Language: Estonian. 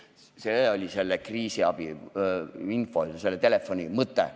See oli kriisiabiinfo ja selle telefoniliini mõte.